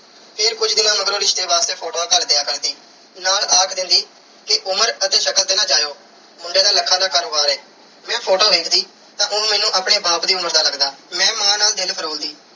ਫਿਰ ਕੁਝ ਦਿਨਾਂ ਮਗਰੋਂ ਰਿਸ਼ਤੇ ਵਾਸਤੇ photos ਘੱਲ ਦਿਆ ਕਰਦੀ। ਨਾਲ ਆਖ ਦਿੰਦੀ ਕਿ ਉਮਰ ਅਤੇ ਸ਼ਕਲ ਤੇ ਨਾ ਜਾਇਓ। ਮੁੰਡੇ ਦਾ lakhs ਦਾ ਕਾਰੋਬਾਰ ਐ। ਮੈਂ photo ਵੇਖਦੀ ਤਾਂ ਉਹ ਮੈਨੂੰ ਆਪਣੇ ਬਾਪ ਦੀ ਉਮਰ ਦਾ ਲੱਗਦਾ। ਮੈਂ ਮਾਂ ਨਾਲ ਦਿਲ ਫਰੋਲਦੀ।